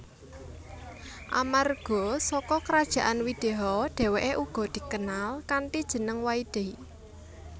Amarga saka Krajaan Wideha dheweke uga dikenal kanthi jeneng Waidehi